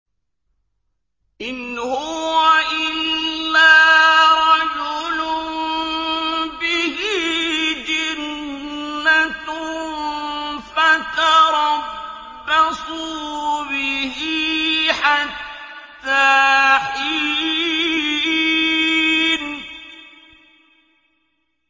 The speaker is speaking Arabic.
إِنْ هُوَ إِلَّا رَجُلٌ بِهِ جِنَّةٌ فَتَرَبَّصُوا بِهِ حَتَّىٰ حِينٍ